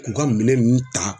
K'u ka minɛn ninnu ta